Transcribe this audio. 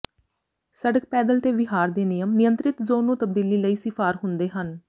ਸੜਕ ਪੈਦਲ ਤੇ ਵਿਹਾਰ ਦੇ ਨਿਯਮ ਨਿਯੰਤ੍ਰਿਤ ਜ਼ੋਨ ਨੂੰ ਤਬਦੀਲੀ ਲਈ ਿਸਫ਼ਾਰ ਹੁੰਦੇ ਹਨ